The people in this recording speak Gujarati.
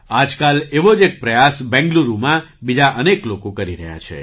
આજકાલ એવો જ એક પ્રયાસ બેંગ્લુરુમાં બીજા અનેક લોકો કરી રહ્યા છે